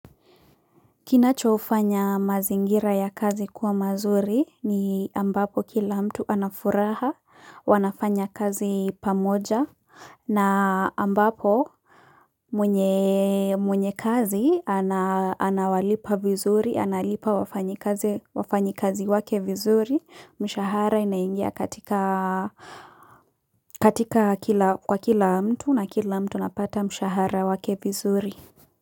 Kinachofanya mazingira ya kazi kuwa mazuri ni ambapo kila mtu anafuraha wanafanya kazi pamoja na ambapo mwenye kazi anawalipa vizuri analipa wafanyikazi, wafanyikazi wake vizuri mshahara inaingia katika, katika kwa kila mtu na kila mtu anapata mshahara wake vizuri.